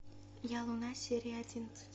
я луна серия одиннадцать